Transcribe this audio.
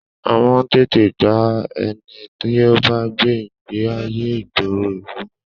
A man tètè dá ẹni tí o gbé ìgbéayé ìgboro ìlú mọ